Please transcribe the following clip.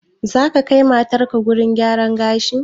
Zaka kai matarka gurin gyaran gashi?